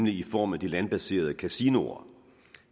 i form af de landbaserede kasinoer